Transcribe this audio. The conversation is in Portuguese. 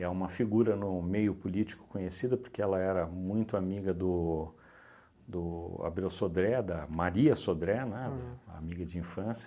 É uma figura no meio político conhecida porque ela era muito amiga do do Abreu Sodré, da Maria Sodré, né, amiga de infância.